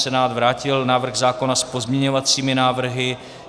Senát vrátil návrh zákona s pozměňovacími návrhy.